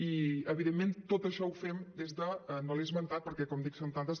i evidentment tot això ho fem des de no l’he esmentat perquè com dic són tantes